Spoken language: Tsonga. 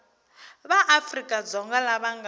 va afrika dzonga lava nga